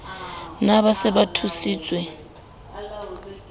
na ba se ba thusitswe